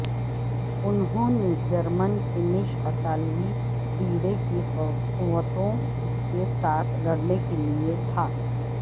انہوں نے German Finnish اطالوی بیڑے کی قوتوں کے ساتھ لڑنے کے لئے تھا